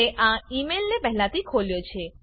મેં આ ઈ મેઈલને પહેલાથી ખોલ્યો છે